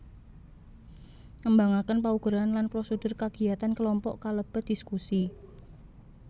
Ngembangaken paugeran lan prosedur kagiyatan kelompok kalebet dhiskusi